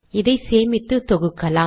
இதை சேமித்து தொகுக்கலாம்